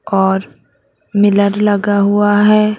और मिरर लगा हुआ है।